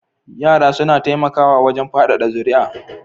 Yara suna taimakawa wajen fadada zuriya